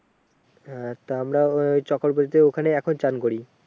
এ তা আমরা ওই চক্রবতী তে ওখানে এখন চান করি